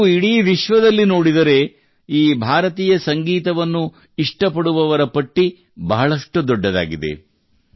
ನೀವು ಇಡೀ ವಿಶ್ವದಲ್ಲಿ ನೋಡಿದರೆ ಈ ಭಾರತೀಯ ಸಂಗೀತವನ್ನು ಇಷ್ಟಪಡುವವರ ಪಟ್ಟಿ ಬಹಳಷ್ಟು ದೊಡ್ಡದಾಗಿದೆ